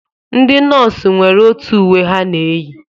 Ndị nọọsụ nwere otu uwe ha na-eyi